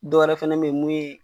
Dɔw wɛrɛ fɛnɛ bɛ ye mun ye.